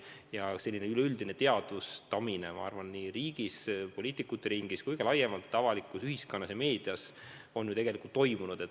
Ja selline üleüldine probleemide teadvustamine riigis, nii poliitikute ringis kui ka laiemalt ühiskonnas ja meedias on tegelikult toimunud.